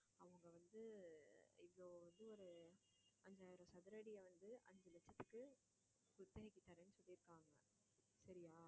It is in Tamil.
அவங்க வந்து இவ்வளவு வந்து ஒரு அஞ்சாயிரம் சதுர அடியை வந்து அஞ்சு லட்சத்துக்கு விற்பனைக்குத் தர்றேன்னு சொல்லியிருக்காங்க சரியா